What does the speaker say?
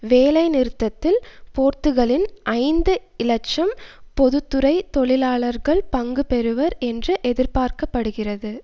வேலை நிறுத்தத்தில் போர்த்துகளின் ஐந்து இலட்சம் பொது துறை தொழிலாளர்கள் பங்கு பெறுவர் என்று எதிர்பார்க்க படுகிறது